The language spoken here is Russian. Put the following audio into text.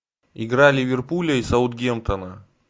игра ливерпуля и саутгемптона